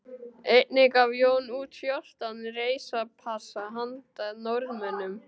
Einnig gaf Jón út fjórtán reisupassa handa Norðmönnum